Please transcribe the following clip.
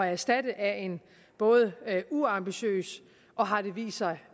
erstatte af en både uambitiøs og har det vist sig